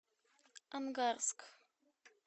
ангарск